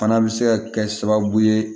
Fana bɛ se ka kɛ sababu ye